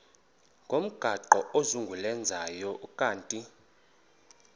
ngomgaqo ozungulezayo ukanti